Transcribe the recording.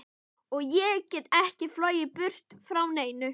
Og ég get ekki flogið burt frá neinu.